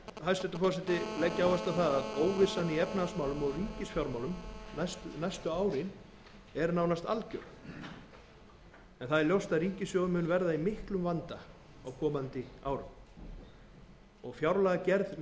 hæstvirtur forseti leggja áherslu á að óvissan í efnahagsmálum og ríkisfjármálum næstu árin er nánast algjör ljóst er að ríkissjóður mun verða í miklum vanda á komandi árum og fjárlagagerð